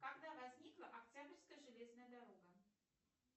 когда возникла октябрьская железная дорога